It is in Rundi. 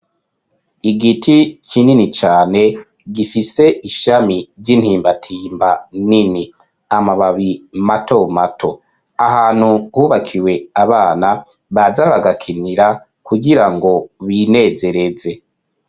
Igiti kinini cane gifise ishami ry'intimbatimba nini . Amababi ni mato mato .Ahantu hubakiwe abana baza bagakinira kugirango binezereze.